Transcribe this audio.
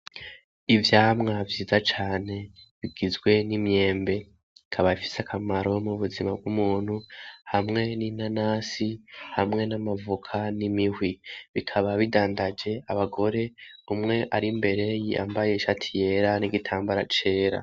ivyamwa vyiza cane bigizwe n'imyembe bikaba bifise akamaro m'ubuzima bw'umuntu hamwe ninanasi hamwe n'amavoka n'imihwi, bikaba bidandaje abagore umwe ari imbere yambaye ishati yera n'igitambara cera.